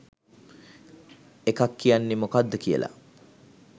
එකක් කියන්නේ මොකද්ද කියලා.